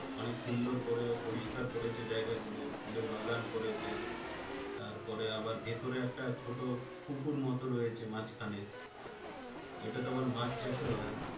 অনেক সুন্দর করে পরিষ্কার করেছে জায়গাগুলো, ফুলের বাগান করেছে। তারপরে আবার ভেতরে একটা ছোট পুকুর মতো রয়েছে মাঝখানে। ওইটাতে আবার মাছ চাষ ও হয়।